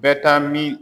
Bɛ taa min